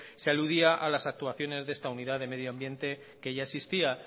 se aludía a las actuaciones de esta unidad de medio ambiente que ya existía